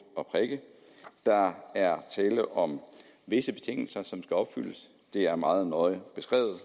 og prikke der er tale om visse betingelser som skal opfyldes det er meget nøje beskrevet